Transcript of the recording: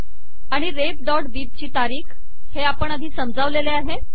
आणि refbibची तारीख हे आपण आधी समजावलेले आहे